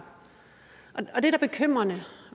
og det er da bekymrende